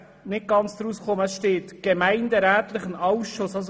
Die Rede ist von einem «gemeinderätlichen Ausschuss».